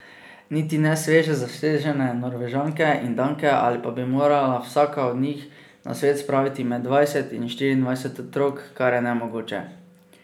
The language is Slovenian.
Niti ne sveže zasežene Norvežanke in Danke, ali pa bi morala vsaka od njih na svet spraviti med dvajset in štiriindvajset otrok, kar je nemogoče.